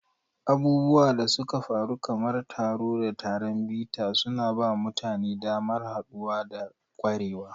Abubuwan da suka faru kamar taro da taron bita suna ba mutane damar haɗuwa da ƙwarewa.